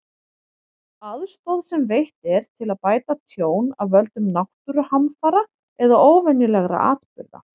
Aðstoð sem veitt er til að bæta tjón af völdum náttúruhamfara eða óvenjulegra atburða.